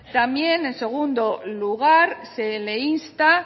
también en segundo lugar se le insta